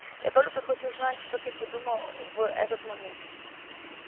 я только хочу знать что ты подумал в этот момент